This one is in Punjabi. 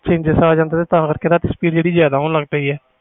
changes ਆ ਜਾਂਦੇ ਆ ਤਾ ਕਰਕੇ ਜਿਆਦਾ speed ਹੋ ਜਾਂਦੀ ਆ